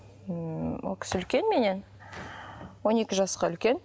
ммм ол кісі үлкен меннен он екі жасқа үлкен